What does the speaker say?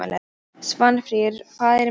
Svanfríður, hvað er í matinn?